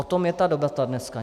O tom je ta debata dneska.